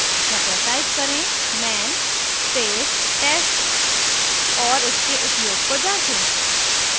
कृपया type करें man space test और इसके उपयोग को जाँचें